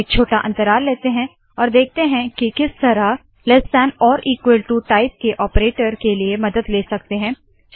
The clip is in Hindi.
हम एक छोटा अंतराल लेते है और देखते है के किस तरह lt टाइप के ऑपरेटर के लिए मदद ले सकते है